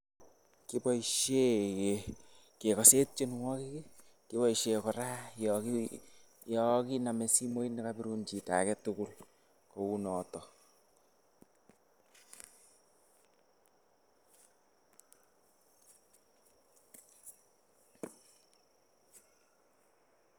koboisyen kekasen tienwakik ,kiboisyen koraa Yan kiname simoit nekabirun chita aketukul kounaton.